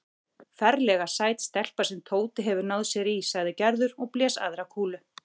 Ferlega sæt stelpa sem Tóti hefur náð sér í sagði Gerður og blés aðra kúlu.